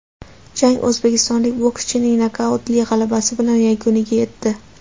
Jang o‘zbekistonlik bokschining nokautli g‘alabasi bilan yakuniga yetdi.